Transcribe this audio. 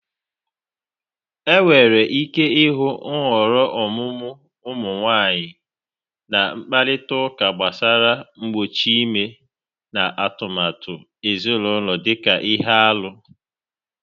Enwere ike ịhụ nhọrọ ọmụmụ ụmụ nwanyị na mkparịta ụka gbasara mgbochi ime na atụmatụ ezinaụlọ dị ka ihe arụ.